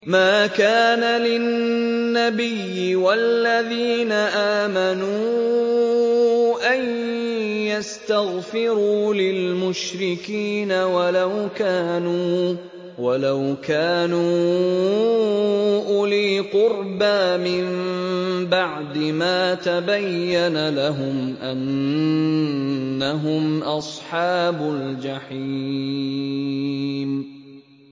مَا كَانَ لِلنَّبِيِّ وَالَّذِينَ آمَنُوا أَن يَسْتَغْفِرُوا لِلْمُشْرِكِينَ وَلَوْ كَانُوا أُولِي قُرْبَىٰ مِن بَعْدِ مَا تَبَيَّنَ لَهُمْ أَنَّهُمْ أَصْحَابُ الْجَحِيمِ